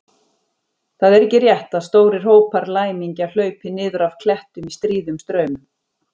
Það er ekki rétt að stórir hópar læmingja hlaupi niður af klettum í stríðum straumum.